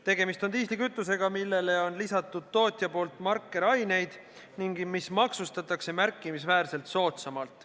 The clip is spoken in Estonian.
Tegemist on diislikütusega, millele tootja on lisanud markeraineid ning mis maksustatakse märkimisväärselt soodsamalt.